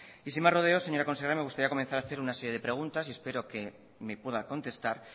y sin más rodeos señora consejera me gustaría comenzar a hacer una serie de preguntas y espero que me pueda contestar